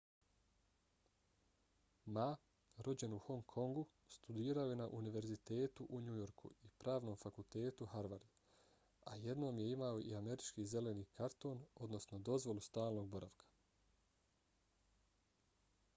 ma rođen u hong kongu studirao je na univerzitetu u new yorku i pravnom fakultetu harvard a jednom je imao i američki zeleni karton odnosno dozvolu stalnog boravka